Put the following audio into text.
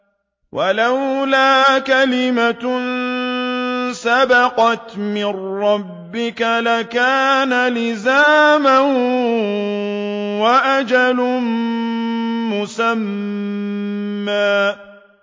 وَلَوْلَا كَلِمَةٌ سَبَقَتْ مِن رَّبِّكَ لَكَانَ لِزَامًا وَأَجَلٌ مُّسَمًّى